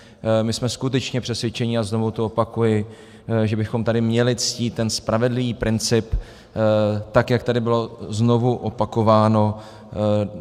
My jsme skutečně přesvědčeni, a znovu to opakuji, že bychom tady měli ctít ten spravedlivý princip, tak jak tady bylo znovu opakováno.